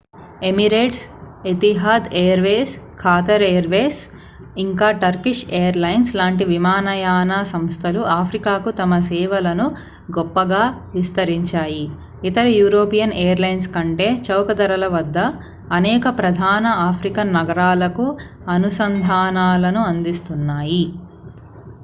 Emirates Etihad Airways Qatar Airways ఇంకా Turkish Airlines లాంటి విమానయాన సంస్థలు ఆఫ్రికాకు తమ సేవలను గొప్పగా విస్తరించాయి ఇతర యూరోపియన్ ఎయిర్ లైన్స్ కంటే చౌక ధరలవద్ద అనేక ప్రధాన ఆఫ్రికన్ నగరాలకు అనుసంధానాలను అందిస్తున్నాయి